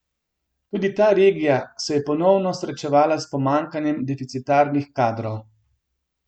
Tudi ta regija se je ponovno srečevala s pomanjkanjem deficitarnih kadrov.